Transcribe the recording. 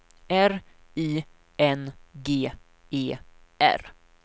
R I N G E R